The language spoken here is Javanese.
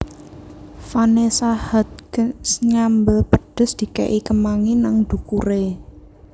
Vanessa Hudgens nyambel pedes dike'i kemangi nang dhukure